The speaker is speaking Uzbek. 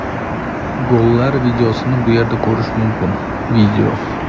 Gollar videosini bu yerda ko‘rish mumkin video .